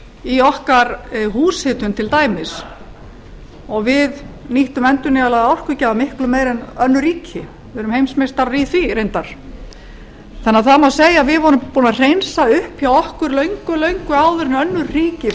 í okkar húshitun til dæmis og við nýttum endurnýjanlega orkugjafa miklu meira en önnur ríki við erum heimsmeistarar í því reyndar þannig að það má segja að við vorum búin að hreinsa upp hjá okkur löngu áður en önnur ríki